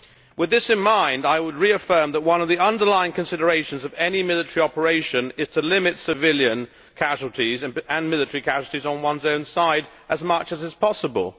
With that in mind, I would reaffirm that one of the underlying considerations in any military operation is to limit civilian casualties, and military casualties on one's own side, as far as possible.